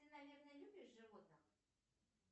ты наверное любишь животных